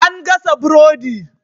An gasa burodi.